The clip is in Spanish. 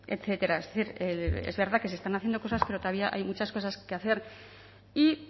etcétera es decir es verdad que se están haciendo cosas pero todavía hay muchas cosas que hacer y